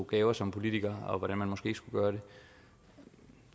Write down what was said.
gaver som politiker og hvordan man måske ikke skulle gøre det